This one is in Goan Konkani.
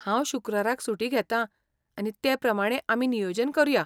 हांव शुक्राराक सुटी घेता आनी ते प्रमाणें आमी नियोजन करुया.